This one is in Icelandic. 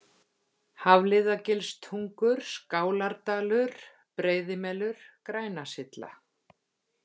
Hafliðagilstungur, Skálardalur, Breiðimelur, Grænasylla